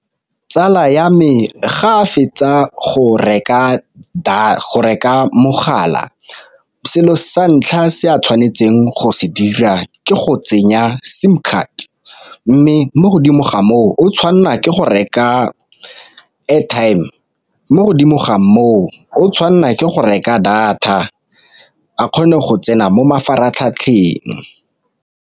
Tsala ya me ga a fetsa go reka mogala selo sa ntlha se a tshwanetseng go se dira ke go tsenya sim card, mme mo godimo ga moo o tshwanelwa ke go reka airtime, mo godimo ga moo o tshwanelwa ke go reka data a kgone go tsena mo mafaratlhatlheng.